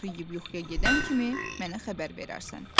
O tortu yeyib yuxuya gedən kimi mənə xəbər verərsən".